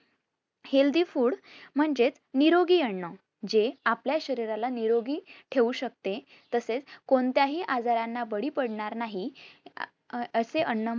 Healthy food म्हणजेच निरोगी अन्न जे अपल्या शरीराला निरोगी ठेऊ शकते, तसेच कोणत्याही आजारांना बाळी पडणार नाही. अं अं असे अन्न